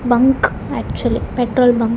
Bunk actually petrol bunk .